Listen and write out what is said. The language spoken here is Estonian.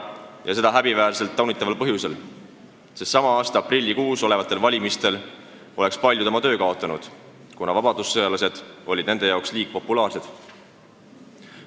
Ja seda häbiväärsel, taunitaval põhjusel: sest sama aasta aprillikuus, kui pidid tulema valimised, oleks paljud oma töö kaotanud, kuna vabadussõjalased olid nende seisukohast liig populaarsed.